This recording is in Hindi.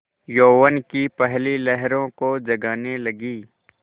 यौवन की पहली लहरों को जगाने लगी